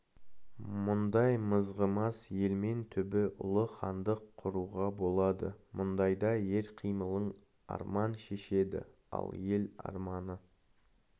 мұндай мызғымас елмен түбі ұлы хандық құруға болады мұндайда ер қимылын арман шешеді ал ер арманы